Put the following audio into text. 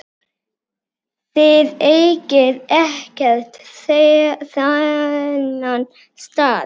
Þið eigið ekkert þennan stað.